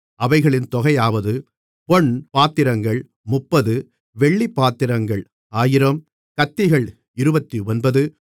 அவைகளின் தொகையாவது பொன் பாத்திரங்கள் 30 வெள்ளிப்பாத்திரங்கள் 1000 கத்திகள் 29